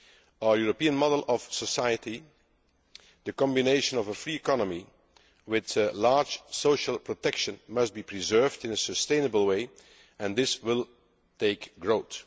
Our European model of society, the combination of a free economy with a high degree of social protection, must be preserved in a sustainable way, and this will take growth.